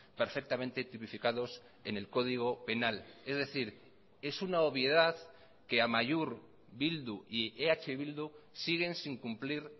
perfectamente tipificados en el código penal es decir es una obviedad que amaiur bildu y eh bildu siguen sin cumplir